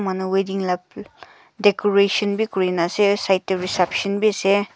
manu wedding la decoration bi kuri na ase side te reception bi ase.